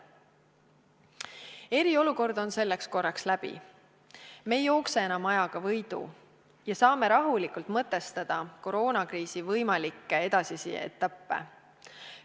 Eriolukord on selleks korraks läbi, me ei jookse enam ajaga võidu ja saame rahulikult mõtestada koroonakriisi võimalikke edasisi etappe.